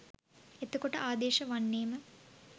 එතකොට ආදේශ වන්නේම